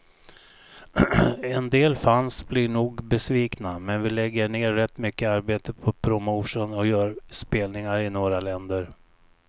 En del fans blir nog besvikna, men vi lägger ner rätt mycket arbete på promotion och gör spelningar i några länder.